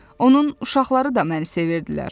Onun uşaqları da məni sevirdilər.